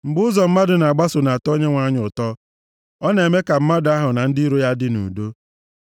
Mgbe ụzọ mmadụ na-agbaso na-atọ Onyenwe anyị ụtọ, ọ na-eme ka mmadụ ahụ na ndị iro ya dị nʼudo.